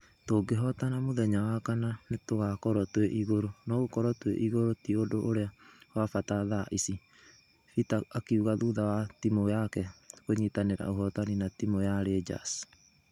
"Tũgehotana mũthenya wa kana nĩtũgakorwo twe igũrũ no gũkũrwo twe igũrũ ti ũndũ ũria we fata tĥa ĩci,"peter akiuga thutha wa timu yake gũnyitanĩra uhotani na timũ ya rangers.